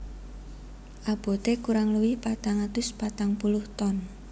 Aboté kurang luwih patang atus patang puluh ton